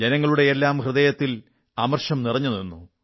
ജനങ്ങളുടെയെല്ലാം ഹൃദയത്തിൽ ആക്രോശം നിറഞ്ഞുനിന്നു